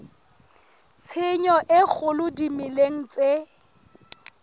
tshenyo e kgolo dimeleng tse